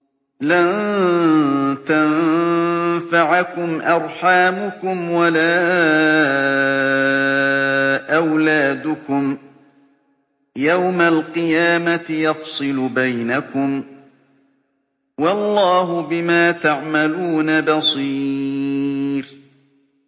لَن تَنفَعَكُمْ أَرْحَامُكُمْ وَلَا أَوْلَادُكُمْ ۚ يَوْمَ الْقِيَامَةِ يَفْصِلُ بَيْنَكُمْ ۚ وَاللَّهُ بِمَا تَعْمَلُونَ بَصِيرٌ